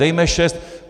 Dejme šest.